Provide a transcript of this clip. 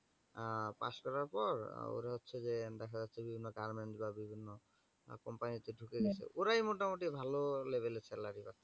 pass করার পর ওরা হচ্ছে যে দেখা যাচ্ছে যে বিভিন্ন কারণে বিভিন্ন company তে ঢুকে হু যাচ্ছে ওরাই মোটামুটি ভালো level এ salary পাচ্ছে।